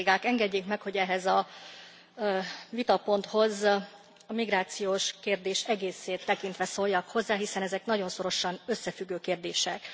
Engedje meg, hogy ehhez a vitaponthoz a migrációs kérdés egészét tekintve szóljak hozzá, hiszen ezek nagyon szorosan összefüggő kérdések.